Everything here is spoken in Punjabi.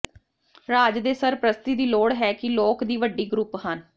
ਰਾਜ ਦੇ ਸਰਪ੍ਰਸਤੀ ਦੀ ਲੋੜ ਹੈ ਕਿ ਲੋਕ ਦੀ ਵੱਡੀ ਗਰੁੱਪ ਹਨ